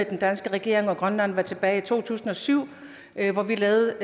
den danske regering og grønland var tilbage i to tusind og syv hvor vi lavede